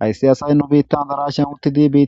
Hayssi asay nu dere biittan addarashayan uttidi